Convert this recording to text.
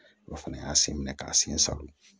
O fana y'a sen minɛ k'a sen salon